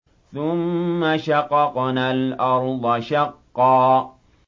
ثُمَّ شَقَقْنَا الْأَرْضَ شَقًّا